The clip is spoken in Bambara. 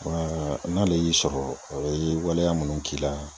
n'ale y'i sɔrɔ o ye waleya munnu k'i la